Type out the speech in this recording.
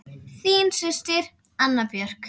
Þín systir, Anna Björk.